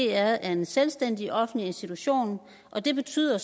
er en selvstændig offentlig institution og det betyder